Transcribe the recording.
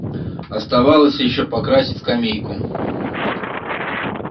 оставалось ещё покрасить скамейку